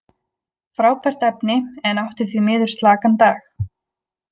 Frábært efni, en átti því miður slakan dag.